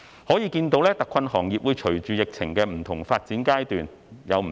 可見特困行業會隨着疫情的不同發展階段而有所不同。